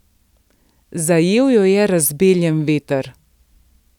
Zajel jo je razbeljen veter.